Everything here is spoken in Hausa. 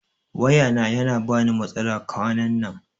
Waya na yana bani matsala kwanan nan